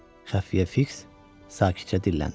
Xəfiyyə Fiks sakitcə dilləndi.